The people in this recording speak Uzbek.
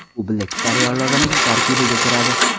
U Black Star yorlig‘ining tarkibiga kiradi.